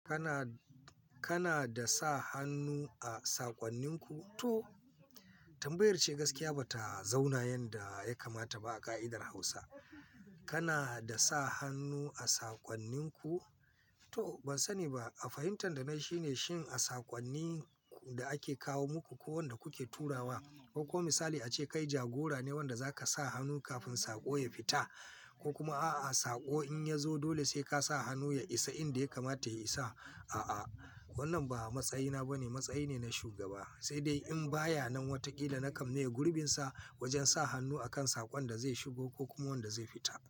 Kana, kana da sa hannu a saƙonninku? To tambayar ce gaskiya ba ta zauna yanda ya kamata ba a ƙa'idar Hausa. Kana da sa hannu a saƙonninku? To ban sani ba, a fahimtar danai shine shin a saƙonnin da ake kawo muku ko wanda kuke turawa, ko kuma misali ace kai jagora ne wanda zaka sa hannu kafin saƙo ya fita ko kuma a'a saƙo in ya zo dole sai ka sa hannu ya isa inda ya kamata ya isa. A'a, wannan ba matsayina ba ne, matsayi ne na shugaba. Sai dai in baya nan wataƙila na kammaya gurbinsa wajen sa hannu a kan saƙon da zai shigo ko kuma wanda zai fita.